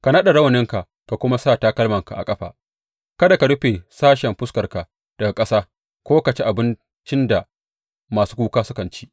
Ka naɗa rawaninka ka kuma sa takalmanka a ƙafa; kada ka rufe sashen fuskarka daga ƙasa ko ka ci abincin da masu kuka sukan ci.